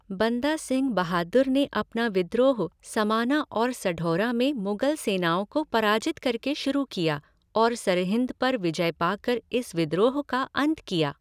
बंदा सिंह बहादुर ने अपना विद्रोह समाना और सढौरा में मुगल सेनाओं को पराजित करके शुरू किया और सरहिंद पर विजय पाकर इस विद्रोह का अंत किया।